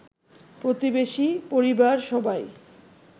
প্রতিবেশী, পরিবার সবাই